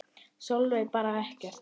Sólveig: Bara ekkert?